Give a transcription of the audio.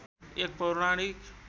एक पौराणिक